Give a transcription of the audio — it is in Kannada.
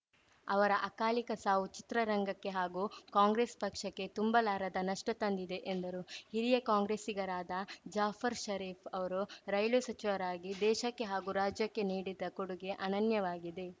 ಅವರ ಅಕಾಲಿಕ ಸಾವು ಚಿತ್ರರಂಗಕ್ಕೆ ಹಾಗೂ ಕಾಂಗ್ರೆಸ್‌ ಪಕ್ಷಕ್ಕೆ ತುಂಬಲಾರದ ನಷ್ಟತಂದಿದೆ ಎಂದರು ಹಿರಿಯ ಕಾಂಗ್ರೆಸ್ಸಿಗರಾದ ಜಾಫರ್‌ ಷರೀಫ್‌ ಅವರು ರೈಲ್ವೆ ಸಚಿವರಾಗಿ ದೇಶಕ್ಕೆ ಹಾಗೂ ರಾಜ್ಯಕ್ಕೆ ನೀಡಿದ್ದ ಕೊಡುಗೆ ಅನನ್ಯವಾಗಿದೆ